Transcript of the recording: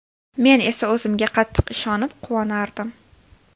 Men esa o‘zimga qattiq ishonib, quvonardim.